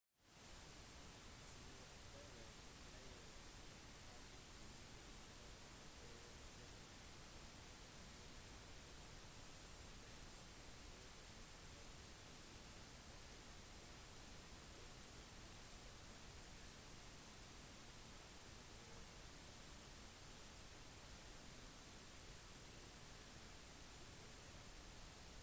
sjåfører pleier heldigvis å oppføre seg med noenlunde konsistens slik at trafikkflyten holder seg ganske konsistent og med mulighet til å beregnes matematisk med en rimelig grad av sikkerhet